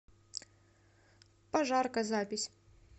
пожарка запись